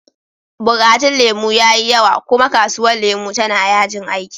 Bukatun lemu ya yi yawa, kuma kasuwar lemu tana yajin aiki.